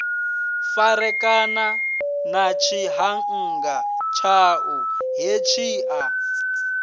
farekana na tshiṱhannga tshaṋu hetshiḽa